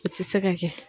O tɛ se ka kɛ